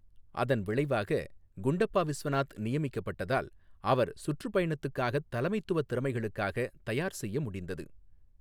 அதன் விளைவாக, குண்டப்பா விஸ்வநாத் நியமிக்கப்பட்டதால் அவர் சுற்றுப்பயணத்துக்காகத் தலைமைத்துவ திறமைகளுக்காக தயார் செய்ய முடிந்தது.